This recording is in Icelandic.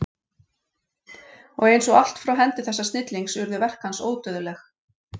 Og eins og allt frá hendi þessa snillings urðu verk hans ódauðleg.